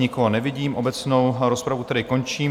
Nikoho nevidím, obecnou rozpravu tedy končím.